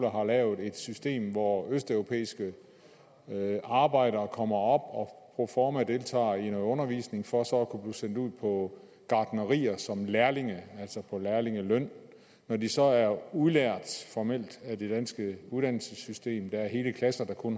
har lavet et system hvor østeuropæiske arbejdere kommer op og proforma deltager i noget undervisning for så sendt ud på gartnerier som lærlinge altså på lærlingeløn når de så er formelt udlært af det danske uddannelsessystem der er hele klasser der kun